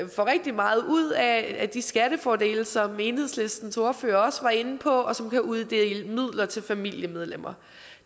rigtig meget ud af de skattefordele som enhedslistens ordfører også var inde på og som kan uddele midler til familiemedlemmer